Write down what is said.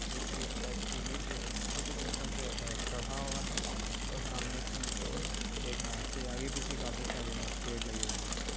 जो की एक शायद सीढ़ी पे एक छोटे सिस्टम पे चढ़ा हुआ है और सामने की और देख रहा इसके आगे पीछे काफी सारे पेड़ लगे हुए हैं।